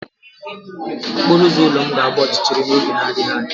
Okporo ụzọ ụlọ m ga-agba ọchịchịrị n'oge na-adịghị anya.